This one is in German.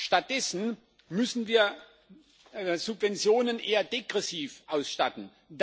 Stattdessen müssen wir Subventionen eher degressiv ausstatten.